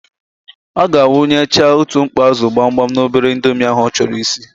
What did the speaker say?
Ọ ga-awụnyecha otu mkpọ ázụ̀ gbamgbam n'obere indomi ahụ ọ chọrọ isi.